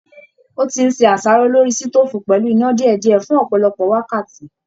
Ó ti ń se àṣàrò lórí sítòfù pẹ́lù iná dìédìẹ́ fun ọpọlọpọ wákàtí.